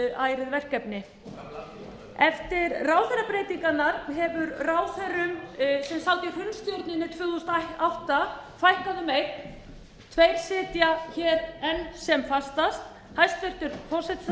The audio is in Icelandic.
ærið verkefni eftir ráðherrabreytingarnar hefur ráðherrum sem sátu í hrunstjórninni tvö þúsund og átta fækkað um einn tveir sitja hér enn sem fastast hæstvirtur forsætisráðherra